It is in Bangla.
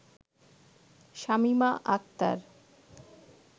শামিমা আখতার